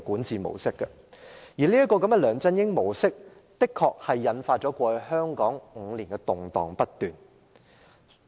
在"梁振英模式"下，香港過去5年動盪不斷。